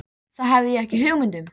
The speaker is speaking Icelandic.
Það hef ég ekki hugmynd um.